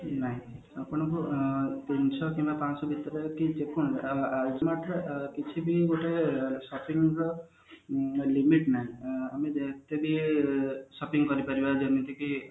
ନାଇଁ ଆପଣ ଯଦି ତିନିଶ କି ପାଞ୍ଚଶହ ଭିତରେ ଯଦି ଦେଖନ୍ତୁ କିଛି ବି ଗୋଟେ shopping ର limit ନାହିଁ ଆମେ ଯେତେବୀ shopping କରି ପାରିବା ଯେମତିକି